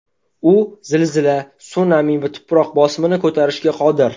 U zilzila, sunami va tuproq bosimini ko‘tarishga qodir.